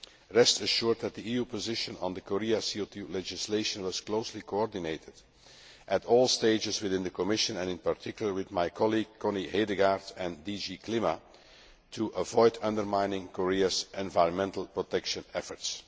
makers. Rest assured that the EU position on the Korea CO 2 legislation was closely coordinated at all stages within the Commission and, in particular, with my colleague Connie Hedegaard and DG CLIMA, to avoid undermining Korea's environmental protection